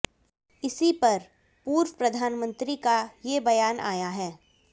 इसी पर पूर्व प्रधानमंत्री का ये बयान आया है